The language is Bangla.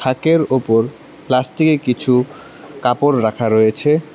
তাকের ওপর প্লাস্টিকে কিছু কাপড় রাখা রয়েছে।